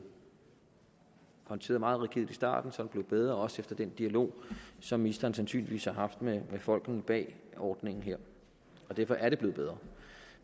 håndteret meget rigidt i starten så er det blevet bedre også efter den dialog som ministeren sandsynligvis har haft med folkene bag ordningen her derfor er det blevet bedre